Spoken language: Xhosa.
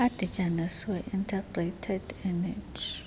adityanisiweyo integrated energy